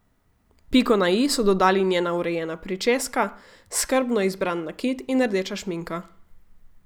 Piko na i so dodali njena urejena pričeska, skrbno izbran nakit in rdeča šminka.